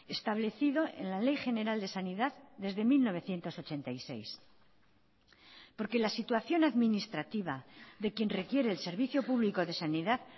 establecido en la ley general de sanidad desde mil novecientos ochenta y seis porque la situación administrativa de quien requiere el servicio público de sanidad